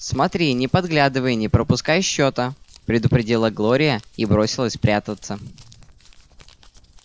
смотри не подглядывай и не пропускай счета предупредила глория и бросилась прятаться